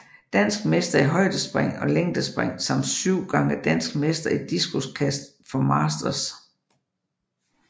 Dansk mester i højdespring og længdespring samt syv gange dansk mester i diskoskast for masters